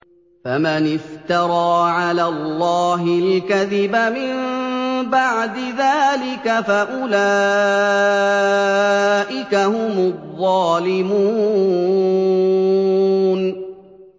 فَمَنِ افْتَرَىٰ عَلَى اللَّهِ الْكَذِبَ مِن بَعْدِ ذَٰلِكَ فَأُولَٰئِكَ هُمُ الظَّالِمُونَ